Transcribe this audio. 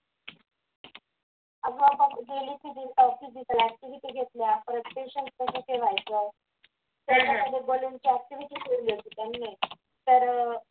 आज आपण daily savingblack sheet भरल्या प्रत्यक्षात कसे ठेवायचं तर